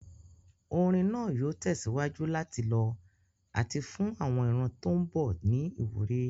Orin náà yóò tẹ̀síwájú láti lọ àti fún àwọn ìran tó ń bọ̀ ní ìwúrí.